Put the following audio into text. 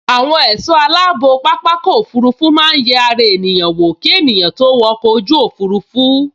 Àwọn ẹ̀sọ́ aláàbò pápákọ̀ òfurufú máa n yẹ ara ènìyàn wò ki ènìyàn tó wo ọkọ̀ ojú òfurufú